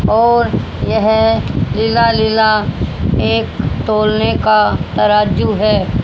और यह नीला नीला एक तौलने का तराजू है।